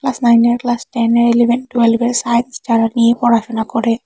Class নাইনের class টেনের eleven টুয়েলভের সাইন্স যারা নিয়ে পড়াশোনা করে।